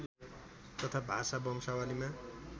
तथा भाषा वंशावलीमा